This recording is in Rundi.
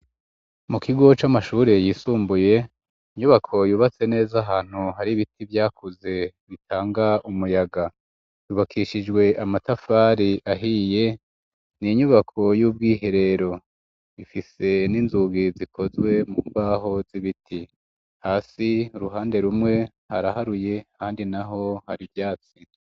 Mu kigo c'amashuri yisumbuye inyubako yubatse neza ahantu hari ibiti vyakuze bitanga umuyaga, yubakishijwe amatafari ahiye, ni inyubako y'ubwiherero ifise n'inzugi zikozwe mu baho z'ibiti hasi uruhande rumwe haraharuye handi naho hari vyatsi.